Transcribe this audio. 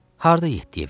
Harda yeddiyə verirlər?